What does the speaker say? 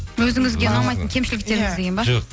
өзіңізге ұнамайтын кемшіліктеріңіз деген бе жоқ